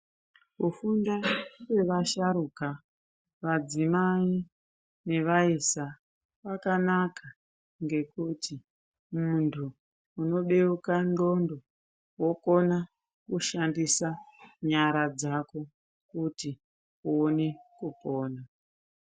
Kufunda kwevasharuka, madzimai, nevaisa kwakanaka, ngekuti muntu unobeuka ndxondo wokona kushandisa nyara dzako kuti uone kupona.